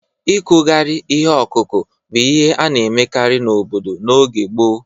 Ịkụgharị ihe ọkụkụ bụ ihe a na-emekarị n'obodo n' oge gboo